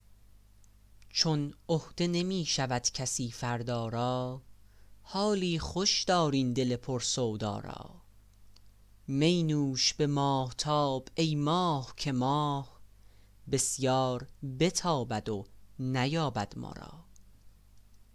چون عهده نمی شود کسی فردا را حالی خوش دار این دل پر سودا را می نوش به ماهتاب ای ماه که ماه بسیار بتابد و نیابد ما را